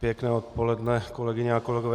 Pěkné odpoledne, kolegyně a kolegové.